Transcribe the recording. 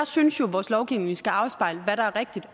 synes jo at vores lovgivning skal afspejle hvad der er rigtig